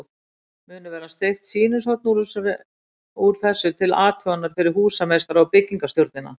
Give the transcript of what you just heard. Munu verða steypt sýnishorn úr þessu til athugunar fyrir húsameistara og byggingarstjórnina.